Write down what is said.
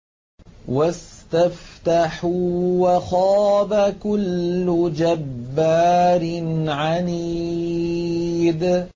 وَاسْتَفْتَحُوا وَخَابَ كُلُّ جَبَّارٍ عَنِيدٍ